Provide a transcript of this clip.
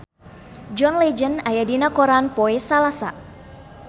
John Legend aya dina koran poe Salasa